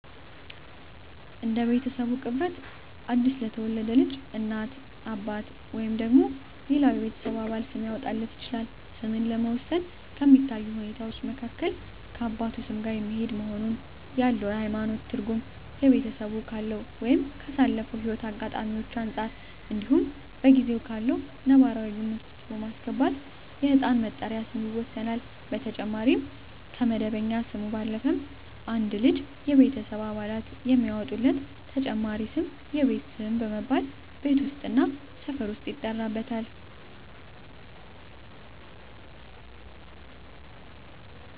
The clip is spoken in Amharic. እንደ ቤተሰቡ ቅርበት አዲስ ለተወለደ ልጅ እናት፣ አባት ወይም ሌላው የቤተሰብ አባል ስም ሊያወጣለት ይችላል። ስምን ለመወሰን ከሚታዩ ሁኔታወች መካከል ከአባቱ ስም ጋር የሚሄድ መሆኑን፣ ያለው የሀይማኖት ትርጉም፣ ቤተሰቡ ካለው ወይም ካሳለፈው ህይወት አጋጣሚወች አንፃር እንዲሁም በጊዜው ካለው ነባራዊ ግምት ውስጥ በማስገባት የህፃን መጠሪያ ስም ይወሰናል። በተጨማሪም ከመደበኛ ስሙ ባለፈም አንድ ልጅ የቤተሰብ አባላት የሚያወጡለት ተጨማሪ ስም የቤት ስም በመባል ቤት ውስጥ እና ሰፈር ውስጥ ይጠራበታል።